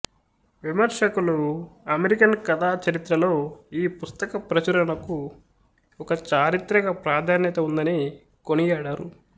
విమర్శకులు అమెరికన్ కథా చరిత్రలో ఈ పుస్తక పరచురణకు ఒక చారిత్రిక ప్రాధాన్యత వుందని కొనియాడారు